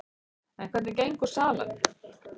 En hvernig gengur salan?